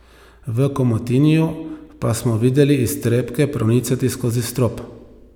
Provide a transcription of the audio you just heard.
V Komotiniju pa smo videli iztrebke pronicati skozi strop.